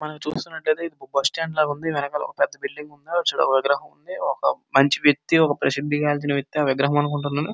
మనం చూస్తున్నట్లైతే bus stand లా ఉంది. వెనకాల ఒక పెద్ద ఉంది. విగ్రహం ఉంది. ఒక వ్యక్తి ఒక ప్రసిది గాంచిన వ్యక్తి ఆ విగ్రహం అనుకుంటాను .